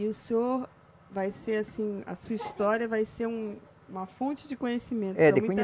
E o senhor vai ser assim, a sua história vai ser um uma fonte de conhecimento para muita